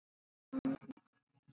En leiðir skildu um sinn.